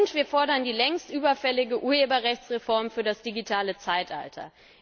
Und wir fordern die längst überfällige Urheberrechtsreform für das digitale Zeitalter.